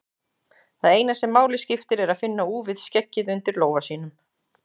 Það eina sem máli skiptir er að finna úfið skeggið undir lófa sínum.